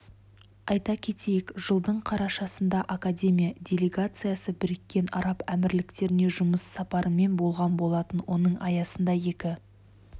айта кетейік жылдың қарашасында академия делегациясы біріккен араб әмірліктеріне жұмыс сапарымен болған болатын оның аясында екі